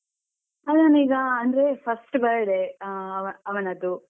ಅದನ್ ಈಗ ಅಂದ್ರೆ first birthday ಅಹ್ ಅವನದ್ದು.